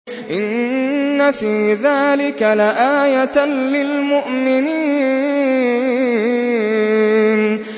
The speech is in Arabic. إِنَّ فِي ذَٰلِكَ لَآيَةً لِّلْمُؤْمِنِينَ